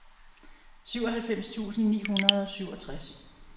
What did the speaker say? syvoghalvfems tusind ni hundrede og syvogtres